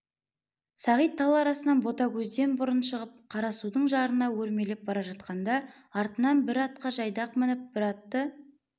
сағит тал арасынан ботагөзден бұрын шығып қарасудың жарына өрмелеп бара жатқанда артынан бір атқа жайдақ мініп бір атты